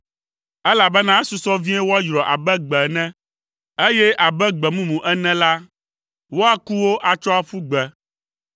elabena esusɔ vie woayrɔ abe gbe ene, eye abe gbe mumu ene la, woaku wo atsɔ aƒu gbe.